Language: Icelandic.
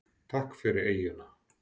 Takk fyrir eyjuna.